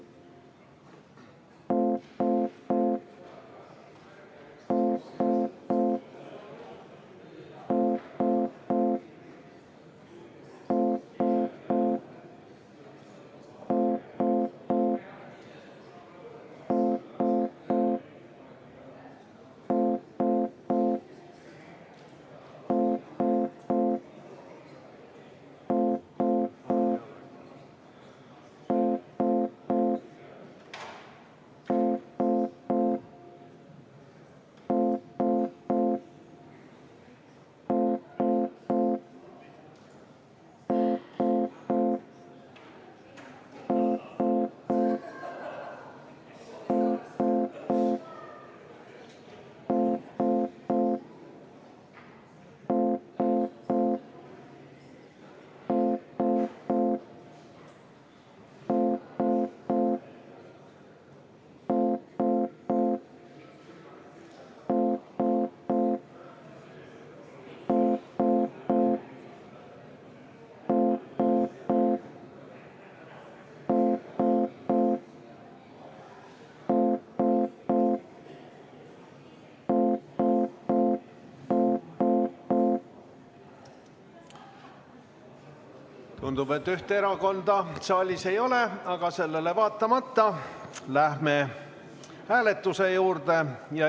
Tundub, et ühte erakonda saalis ei ole, aga sellele vaatamata läheme hääletuse juurde.